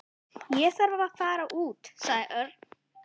Ég er að fara út sagði Örn.